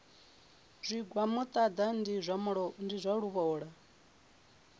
zwigwa muṱaḓa ndi zwa luvhola